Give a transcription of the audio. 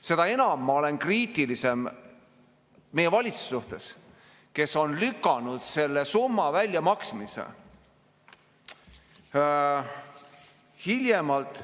Seda enam ma olen kriitiline meie valitsuse suhtes, kes on lükanud selle summa väljamaksmise hiljemalt ...